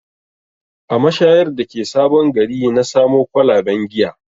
A mashayar da ke sabon gari na samo kwalaben giya